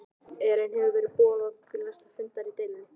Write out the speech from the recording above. Elín hefur verið boðað til næsta fundar í deilunni?